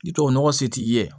I tubabu nɔgɔ se t'i ye